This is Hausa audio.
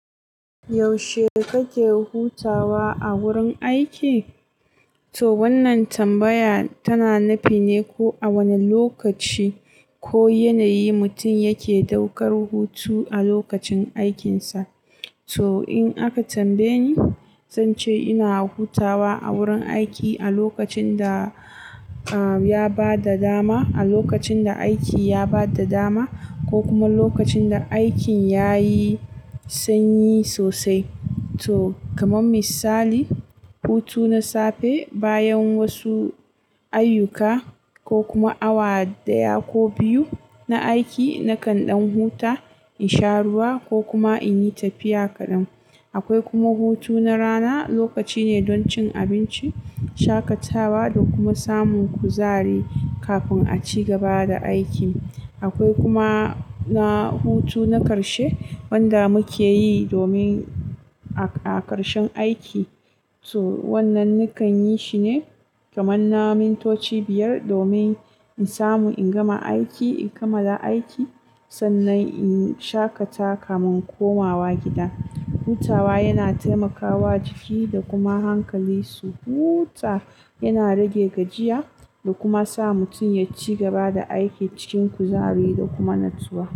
Yaushe kake hutawa a wurin aiki? To wannan tambaya tana nufi ne ko a wane lokaci ko yanayi mutum yake daukar hutu a lokacin aikinsa. To in aka tambaye ni, zan ce ina hutawa a wurin aiki a lokacin da, ah, ya ba da dama, a lokacin da aiki ya ba da dama ko kuma lokacin da aikin ya yi sanyi sosai. To kamar misali, hutu na safe bayan wasu ayyuka ko kuma awa ɗaya ko biyu na aiki nakan ɗan huta in sha ruwa ko kuma in yi tafiya kaɗan. Akwai kuma hutu na rana, lokaci ne don cin abinci, shaƙatawa da kuma samun kuzari kafin a ci gaba da aiki. Akwai kuma na hutu na ƙarshe wanda muke yi domin a ƙarshen aiki. To wannan nakan yi shi ne kamar na min toci biyar domin in samu in gama aiki, in kamala aiki sannan in shaƙata kafin komawa gida. Hutawa yana taimakawa jiki da kuma hankali su huta, yana rage gajiya da kuma sa mutum ya ci gaba da aiki cikin kuzari da kuma natsuwa.